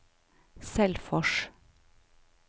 Selfors